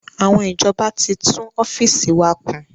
Àwọn ìjọba tí tún ọ́fíìsì wa kùn